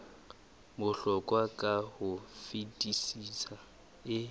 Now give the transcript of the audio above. bohlokwa ka ho fetisisa e